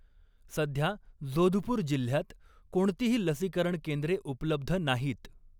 सध्या जोधपूर जिल्ह्यात कोणतीही लसीकरण केंद्रे उपलब्ध नाहीत.